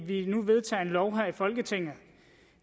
vi nu vedtager en lov her i folketinget